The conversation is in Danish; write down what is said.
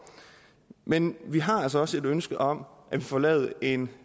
men vi har altså også et ønske om at vi får lavet en